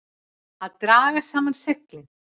Að draga saman seglin